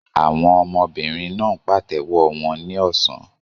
Àwọn ọmọbìnrin náà ń pàtẹ́wọ́ wọn ní ọ̀sán.